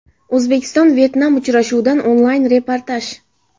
O‘zbekiston Vyetnam uchrashuvidan onlayn reportaj.